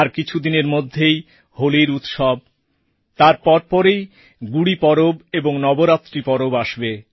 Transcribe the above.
আর কিছুদিনের মধ্যেই হোলির উৎসব তারপরে পরেই গুড়ি পরব ও নবরাত্রি পরব আসবে